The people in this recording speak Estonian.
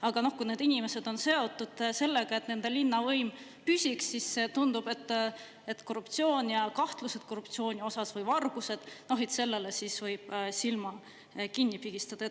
Aga kui need inimesed on seotud sellega, et nende linnavõim püsiks, siis tundub, et korruptsioon ja kahtlused korruptsiooni osas või vargused, sellele siis võib silma kinni pigistada.